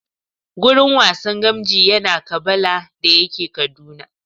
Gurin wasan gamji yana Kabala da yake Kaduna